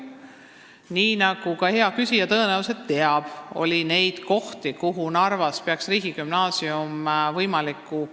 Nii nagu ka hea küsija tõenäoliselt teab, oli neid kohti, kuhu Narvas oleks võinud riigigümnaasiumi ehitada, mitu.